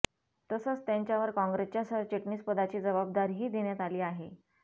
तसंच त्यांच्यावर काँग्रेसच्या सरचिटणीस पदाची जबाबदारीही देण्यात आली आहे